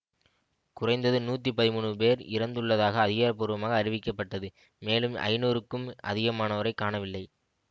குறைந்தது நூற்றி பதிமூன்று பேர் இறந்துள்ளதாக அதிகாரபூர்வமாக அறிவிக்கப்பட்டது மேலும் ஐநூறுக்கும் அதிகமானோரைக் காணவில்லை